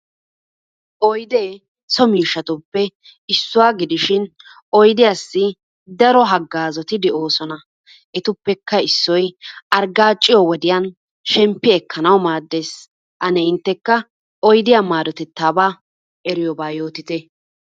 Oyidee so miishshatuppe issuwa gidishin oyidiyaasi daro haggaazoti de'oosona. Etuppekka issoy arggaaciyo wodiyan shemppi ekkanawu maaddes. Ane inttekka oyidiyaa maadotettaabaa eriyobaa yootite?